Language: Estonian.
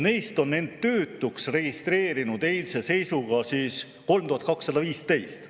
Neist oli end eilse seisuga töötuks registreerinud 3215.